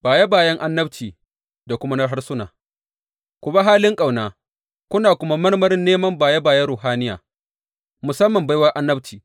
Baye bayen annabci da kuma na harsuna Ku bi halin ƙauna kuna kuma marmarin neman baye bayen ruhaniya, musamman baiwar annabci.